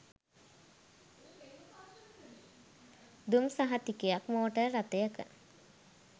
දුම් සහතිකයක් මෝටර් රථයක